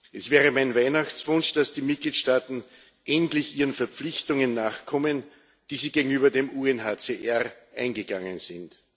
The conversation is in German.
Es wäre mein Weihnachtswunsch, dass die Mitgliedstaaten endlich ihren Verpflichtungen nachkommen, die sie gegenüber dem UNHCR eingegangen sind.